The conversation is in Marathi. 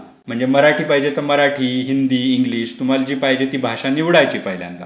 बरं.म्हणजे मराठी पाहिजे ते मराठी, हिंदी, इंग्लिश तुम्हाला जे पाहिजे ते भाषा निवडायची पहिल्यांदा.